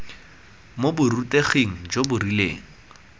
mo boruteging jo bo rileng